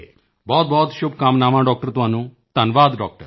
ਬਹੁਤ ਸ਼ੁਭਕਾਮਨਾਵਾਂ ਡਾਕਟਰ ਤੁਹਾਨੂੰ ਧੰਨਵਾਦ ਡਾਕਟਰ